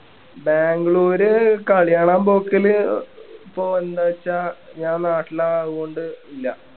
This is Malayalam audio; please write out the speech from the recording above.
ബാംഗ്ലൂര് കളി കാണാൻ പോക്കല് ഇപ്പൊ എന്താച്ച ഞാൻ നാട്ടിലായത് കൊണ്ട് ഇല്ല